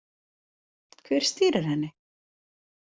Hver stýrir henni?